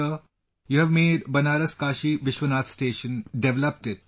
Sir, you have made Banaras Kashi Vishwanath Station, developed it